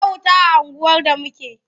Ba wuta a unguwar da muke.